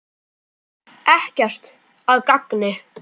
Ekkert að gagni.